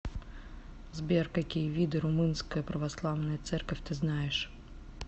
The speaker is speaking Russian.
сбер какие виды румынская православная церковь ты знаешь